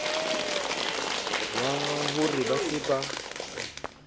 wa ho re ba se